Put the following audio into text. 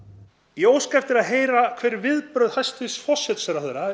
ég óska eftir því að heyra viðbrögð hæstvirts forsætisráðherra